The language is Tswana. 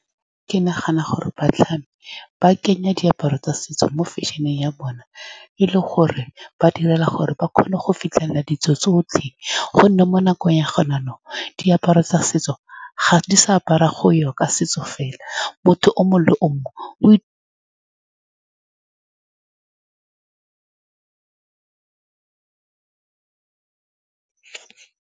Ke nagana gore batlhami ba kenye diaparo tsa setso mo fashion-eng ya bone, e le gore ba direla gore ba kgone go fitlhelela ditso tsotlhe, ka gonne mo nakong ya gone jaanong, diaparo tsa setso ga di sa apariwa go ya ka setso fela, motho o mongwe le o mongwe o .